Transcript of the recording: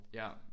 Ja